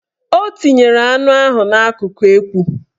O tinyere anụ ahụ n'akụkụ ekwu